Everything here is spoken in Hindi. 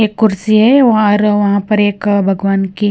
एक कुर्सी है वहां र वहां पर एक भगवान की--